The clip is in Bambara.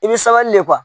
I bɛ sabali de